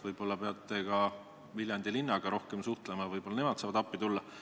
Võib-olla te peate Viljandi linnaga rohkem suhtlema, võib-olla nemad saavad appi tulla.